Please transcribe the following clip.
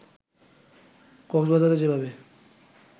কক্সবাজারে যেভাবে